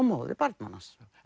móðir barnanna hans